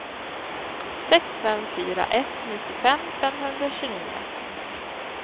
sex fem fyra ett nittiofem femhundratjugonio